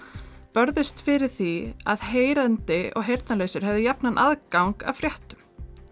börðust fyrir því að heyrandi og heyrnarlausir hefðu jafnan aðgang að fréttum